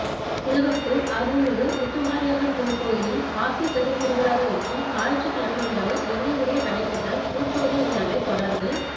திருவப்பூர் அருள்மிகு முத்துமாரியம்மன் திருக்கோயிலின் மாசிப் பெருந்திருவிழாவையொட்டி ஞாயிற்றுக்கிழமை இரவு விடிய விடிய நடைபெற்ற பூச்சொரிதல் நிகழ்வைத் தொடர்ந்து